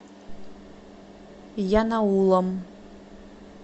янаулом